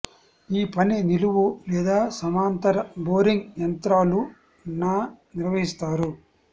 ఈ పని నిలువు లేదా సమాంతర బోరింగ్ యంత్రాలు న నిర్వహిస్తారు